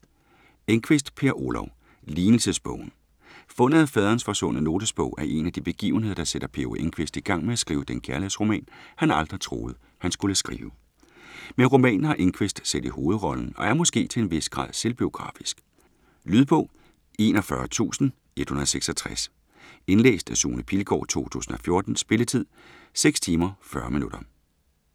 Enquist, Per Olov: Lignelsesbogen Fundet af faderens forsvundne notesbog er en af de begivenheder, der sætter P. O. Enquist i gang med at skrive den kærlighedsroman, han aldrig troede, han skulle skrive. Men romanen har Enquist selv i hovedrollen og er måske til en vis grad selvbiografisk? Lydbog 41166 Indlæst af Sune Pilgaard, 2014. Spilletid: 6 timer, 40 minutter.